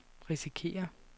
risikerer